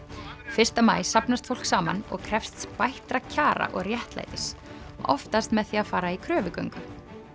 fyrsta maí safnast fólk saman og krefst bættra kjara og réttlætis oftast með því að fara í kröfugöngu